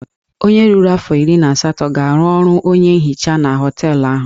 Onye ruru afọ iri na asatọ ga-arụ ọrụ onye nhicha na họteelụ ahụ.